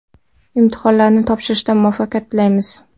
Imtihonlarni topshirishda muvaffaqiyat tilaymiz!